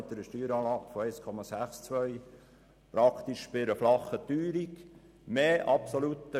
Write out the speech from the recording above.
Heute liegt die Steueranlage bei 1,38, vor sechs Jahren lag sie bei 1,62.